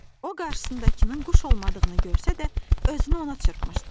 O qarşısındakının quş olmadığını görsə də özünü ona çırpmışdı.